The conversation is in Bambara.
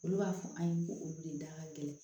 Olu b'a fɔ an ye ko olu de da ka gɛlɛn